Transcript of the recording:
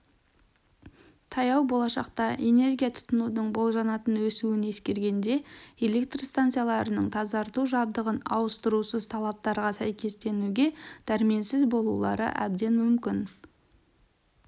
таяу болашақта энергия тұтынудың болжанатын өсуін ескергенде электр станцияларының тазарту жабдығын ауыстырусыз талаптарға сәйкестенуге дәрменсіз болулары әбден мүмкін